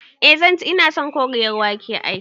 I zanci, ina son Koriyar wake ai